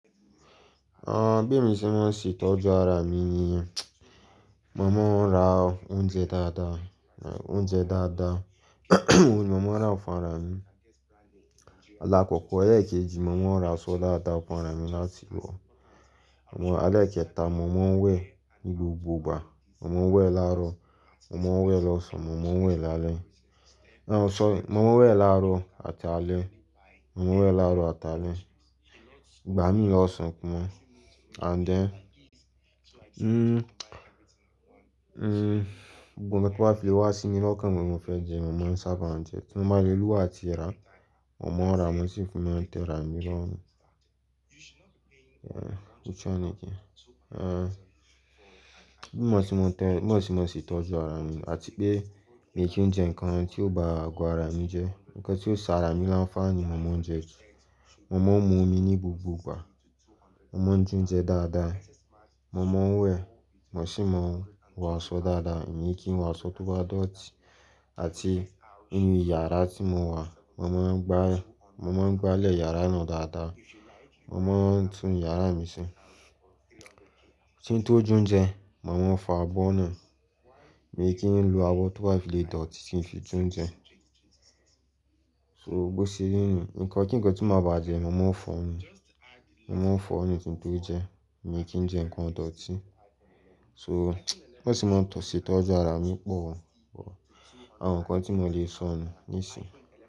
Ah bí èmi ṣe máa ń ṣe ìtọ́jú ara mi ni, mo máa ń ra oúnjẹ dáadáa, oúnjẹ dáadáa mo máa ń ra ọ̀fun ara mi. Alákòókò ẹlẹ́kejì mo máa ń ra aṣọ dáadáa fún ara mi láti wọ̀. Àwọn ẹlẹ́kẹta mo máa ń wẹ̀ ní gbogbo ìgbà, mo máa ń wẹ̀ láàárọ̀, mo máa ń wẹ̀ lọ́sàn-án, mo máa ń wẹ̀ lálẹ́. Ah sorry, mo máa ń wẹ̀ láàárọ̀ àti alẹ́, mo máa ń wẹ̀ láàárọ̀ àti alẹ́. Ìgbà mí lọ́sàn-án pọ̀ mọ́ and then gbogbo nkán tí o bá fi le wá sí mi ní ọkàn pé mo fẹ́ jẹ, mo máa ń sábà jẹ ẹ́. Tí mo máa le lówó tí a ti rà, mo máa ràá mo sì fi ma tẹ́ rà á mi lọ́rùn. Yeah, which one again? Ah bí mo ṣe máa ń tẹ-- bí mo ṣe máa ń ṣe ìtọ́jú ara mi àti pé mi kì í jẹ nǹkan tí ó bá àgọ́ ara mi jẹ́. Nǹkan tí ó ṣe ara mi láńfààní mo máa ń jẹ jù. Mo máa ń mu omi ní gbogbo ìgbà. Mo máa ń jẹ oúnjẹ dáadáa. Mo máa ń wẹ̀, mo sì máa ń wọ aṣọ dáadáa, mi kì í wọ aṣọ tó bá dọ̀tí àti inú yàrá tí mo wà, mo máa ń gbá, mo máa ń gbálẹ̀ yàrá náà dáadáa. Mo máa ń tún yàrá mi ṣe. Kí n tó jẹ oúnjẹ, màá máa ń fọ abọ́ náà, mi kì í lo abọ́ tó bá fi le dọ̀tí kí n fi jẹ oúnjẹ. So bó ṣe rí ni, nǹkan kíǹkan tí màá ba jẹ, màá máa ń fọ́n un, màá máa ń fọ́n un kín tó jẹ, mi kì í jẹ nǹkan tó dọ̀tí. So bí mo se máa ń tọ̀ṣè tọ́jú ara mi pọ̀, àwọn nǹkan tí mo lè sọ nù níìsín.